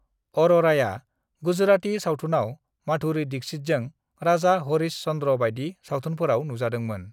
अर'राया गुजराती सावथुनाव माधुरी दीक्षितजों राजा हरीश चन्द्र बायदि सावथुनफोराव नुजादोंमोन।